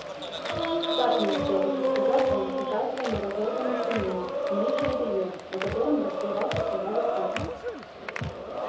цапнул все таки сказал он показывая на разорванную штанину и нижнее белье на котором расплывался кровавый круг